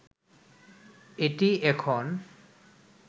এটিই এখন